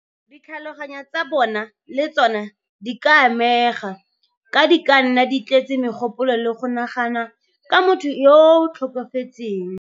Ditlhaloganyo tsa bona le tsona di ka amega, ka di ka nna di tletse megopolo le go nagana ka motho yo o tlhokafetseng.